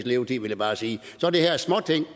levetid vil jeg bare sige så er det her småting